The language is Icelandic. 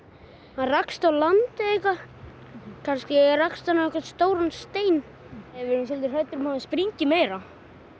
hann rakst á land eða eitthvað kannski rakst hann á stóran stein við erum svolítið hræddir um að hann springi meira